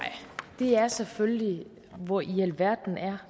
er selvfølgelig hvor i alverden